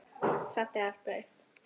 Samt er allt breytt.